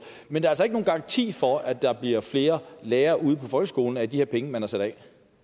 men der er altså ikke nogen garanti for at der bliver flere lærere ude på folkeskolerne af de her penge man har sat af